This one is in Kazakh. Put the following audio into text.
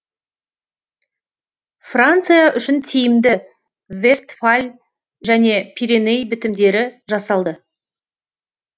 франция үшін тиімді вестфаль және пиреней бітімдері жасалды